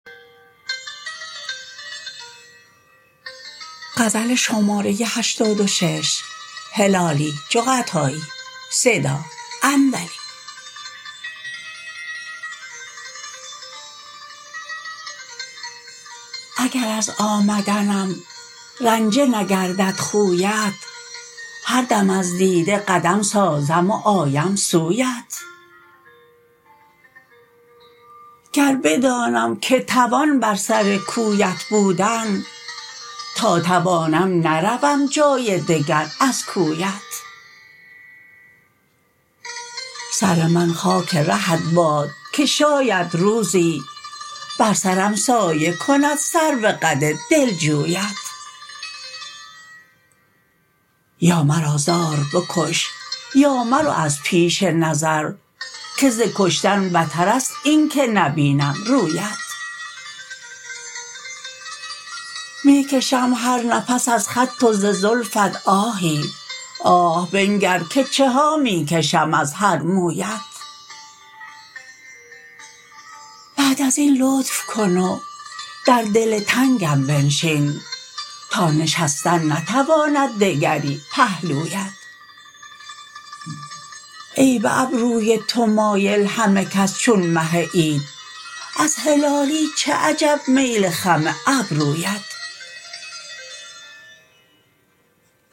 اگر از آمدنم رنجه نگردد خویت هر دم از دیده قدم سازم و آیم سویت گر بدانم که توان بر سر کویت بودن تا توانم نروم جای دگر از کویت سر من خاک رهت باد که شاید روزی بر سرم سایه کند سرو قد دلجویت یا مرا زار بکش یا مرو از پیش نظر که ز کشتن بترست این که نبینم رویت میکشم هر نفس از خط و ز زلفت آهی آه بنگر که چها میکشم از هر مویت بعد ازین لطف کن و در دل تنگم بنشین تا نشستن نتواند دگری پهلویت ای بابروی تو مایل همه کس چون مه عید از هلالی چه عجب میل خم ابرویت